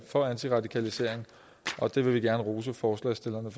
for antiradikalisering og det vil vi gerne rose forslagsstillerne